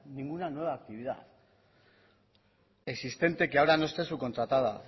ninguna nueva actividad existente que ahora no esté subcontratada